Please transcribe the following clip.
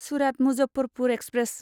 Surat Muzaffarpur express